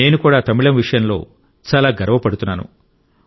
నేను కూడా తమిళం విషయంలో చాలా గర్వపడుతున్నాను